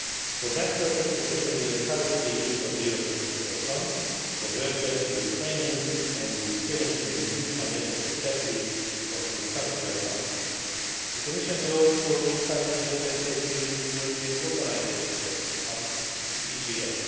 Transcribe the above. today. For that purpose, the Commission will encourage the use of the European Social Fund for retraining and re skilling of workers in the new financial perspective of the Structural Funds. The Commission will also encourage the Member States to use the European Globalisation Adjustment Fund,